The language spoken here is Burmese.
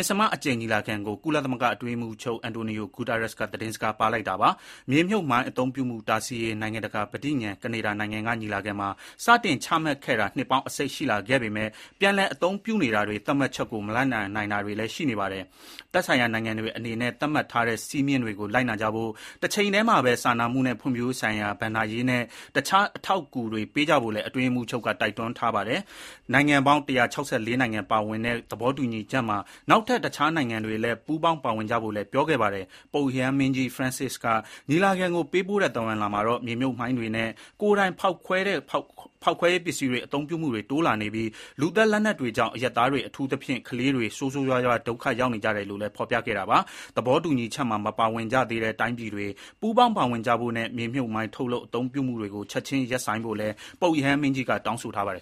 ဉ္စမအကြိမ်ညီလာခံကို ကုလသမဂ္ဂ အတွင်းရေးမှူးချုပ် Antonio Guterres က သတင်းစကားပါးလိုက်တာပါ။ မြေမြှုပ်မိုင်းအသုံးပြုမှုတားဆီးရေး နိုင်ငံတကာပဋိညာဥ်ကို လွန်ခဲ့တဲ့နှစ်ပေါင်းအစိတ်က ကနေဒါနိုင်ငံ မှာကျင်းပခဲ့တဲ့ ညီလာခံကနေ စတင်ချမှတ်ခဲ့ပေမဲ့ ပြန်လည်အသုံးပြုနေတာတွေ၊ သတ်မှတ်ချက်ကို မလိုက်နာနိုင်တာတွေလည်း ရှိနေပါတယ်။ သက်ဆိုင်ရာ နိုင်ငံတွေ အနေနဲ့ သတ်မှတ်ထားတဲ့ စည်းမျဉ်းတွေကို လိုက်နာကြဖို့၊ တချိန်တည်းမှာပဲ စာနာမှုနဲ့ဖွံ့ဖြိုးရေးဆိုင်ရာ ဘဏ္ဍာရေးနဲ့ တခြားအထောက်အကူတွေ ပေးကြဖို့လည်း အတွင်းရေးမှူးချုပ်က တိုက်တွန်းခဲ့တာပါ။နိုင်ငံပေါင်း ၁၆၄ နိုင်ငံ ပါဝင်တဲ့ သဘောတူညီချက်မှာ နောက်ထပ် တခြားနိုင်ငံတွေလည်း ပူးပေါင်းပါဝင်ကြဖို့လည်းပြောခဲ့ပါတယ်။ ပုပ်ရဟန်းမင်းကြီး Francis က ညီလာခံကို ပေးပို့တဲ့ သဝဏ်လွှာမှာတော့ မြေမြှုပ်မိုင်းတွေနဲ့ ကိုယ်တိုင် ဖောက်ခွဲတဲ့ဖောက်ခွဲရေးပစ္စည်းတွေ အသုံးပြုတာတိုးလာနေပြီး လူသတ်လက်နက်တွေကြောင့် အရပ်သားတွေ အထူးသဖြင့်ကလေးတွေ ဆိုးဆိုးရွားရွား ဒုက္ခရောက်ကြရတယ်လို့လည်း ဖော်ပြခဲ့တာပါ။ သဘောတူညီချက်မှာ မပါဝင်ကြသေးတဲ့တိုင်းပြည်တွေ ပူးပေါင်းပါဝင်ကြဖို့နဲ့ မြေမြှုပ်မိုင်း ထုတ်လုပ် အသုံးပြုမှုတွေကို ချက်ခြင်းရပ်ဆိုင်းဖို့လည်း ပုပ်ရဟန်းမင်းကြီးက တောင်းဆိုထားပါတယ်